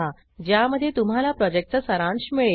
ज्यामध्ये तुम्हाला प्रॉजेक्टचा सारांश मिळेल